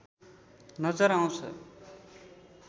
नजर आउँछ।